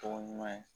Tɔgɔ ɲuman ye